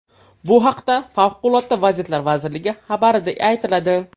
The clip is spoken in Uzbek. Bu haqda Favqulodda vaziyatlar vazirligi xabarida aytiladi .